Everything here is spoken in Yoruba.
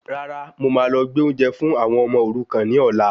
Rárá, mo máa lọ gbé oúnjẹ fún àwọn ọmọ òrukan ní ọ̀la